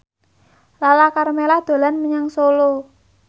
Lala Karmela dolan menyang Solo